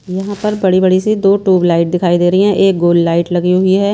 यहां पर बड़ी-बड़ी सी दो ट्यूब लाइट दिखाई दे रही हैं एक गोल लाइट लगी हुई है।